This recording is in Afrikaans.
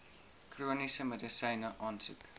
chroniese medisyne aansoek